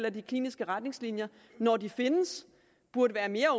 at de kliniske retningslinjer når de findes burde være